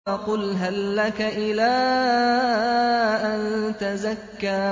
فَقُلْ هَل لَّكَ إِلَىٰ أَن تَزَكَّىٰ